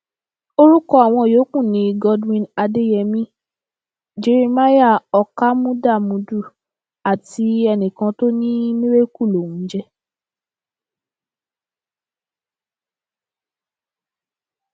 orúkọ àwọn yòókù ni godwin adeyemi jeremiah ọkámúdámùdù àti enìkan tó ní miracle lòún ń jẹ